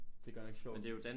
Det er godt nok sjovt